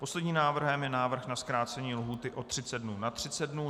Posledním návrhem je návrh na zkrácení lhůty o 30 dnů na 30 dnů.